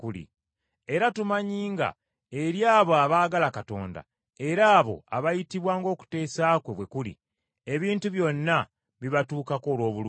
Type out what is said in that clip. Era tumanyi nga eri abo abaagala Katonda, era abo abayitibwa ng’okuteesa kwe bwe kuli, ebintu byonna bibatuukako olw’obulungi.